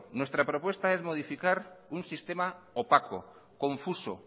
nuestro sistema es modificar un sistema opaco confuso